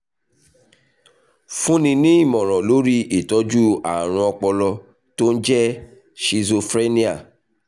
fúnni ní ìmọ̀ràn lórí ìtọ́jú ààrùn ọpọlọ tó ń jẹ́ schizophrenia